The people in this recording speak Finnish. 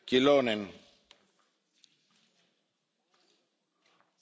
Arvoisa puhemies, ihan tekninen työjärjestyskysymys.